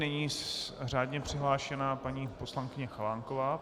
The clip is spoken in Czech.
Nyní řádně přihlášená paní poslankyně Chalánková.